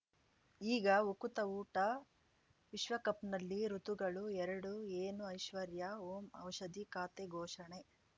ಈಗ ಉಕುತ ಊಟ ವಿಶ್ವಕಪ್‌ನಲ್ಲಿ ಋತುಗಳು ಎರಡು ಏನು ಐಶ್ವರ್ಯಾ ಓಂ ಔಷಧಿ ಖಾತೆ ಘೋಷಣೆ